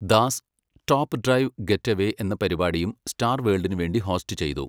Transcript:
Das, top drive get away എന്ന പരിപാടിയും star വേൾഡിനു വേണ്ടി ഹോസ്റ്റ് ചെയ്തു.